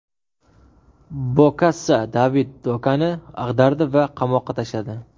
Bokassa David Dakoni ag‘dardi va qamoqqa tashladi.